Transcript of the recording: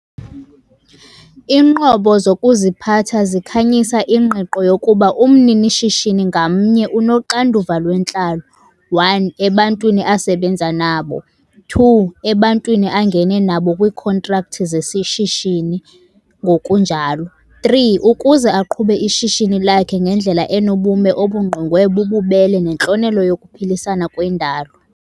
Iinqobo zokuziphatha zikhanyisa ingqiqo yokuba umnini-shishini ngamnye unoxanduva lwentlalo- 1, ebantwini asebenza nabo, 2, ebantwini angene nabo kwiikhontrakthi zesishishini, ngokunjalo 3, ukuze aqhube ishishini lakhe ngendlela enobume obungqongwe bububele nentlonelo yokuphilisana kwendalo!